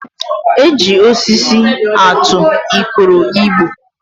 E ji osisi atụ ikoro igbo